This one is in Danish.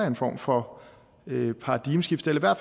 en form for paradigmeskifte eller